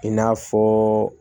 I n'a fɔ